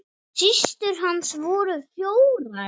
Systur hans voru fjórar.